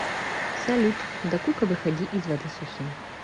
салют дакука выходи из воды сухим